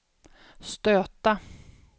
stöta